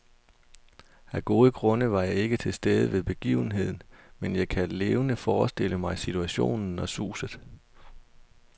Af gode grunde var jeg ikke til stede ved begivenheden, men jeg kan levende forestille mig situationen og suset.